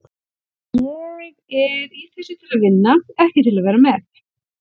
Ég er í þessu til að vinna, ekki til að vera með.